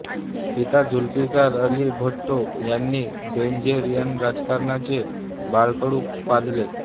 पिता झुल्फिकार अली भुट्टो यांनी बेनझीर यांना राजकारणाचे बाळकडु पाजले